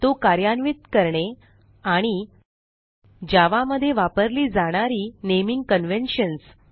तो कार्यान्वित करणे आणि जावा मध्ये वापरली जाणारी नेमिंग कन्व्हेन्शन्स